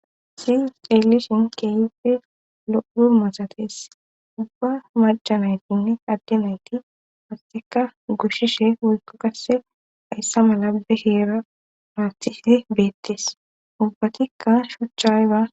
si elishin keeyppe lou masates ubba majanaytinne adde nayti hasteka gushshishe woykko kasse ayssa mala bekeera maawthise beettes ubbatikka shuchayba